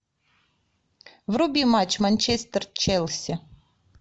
вруби матч манчестер челси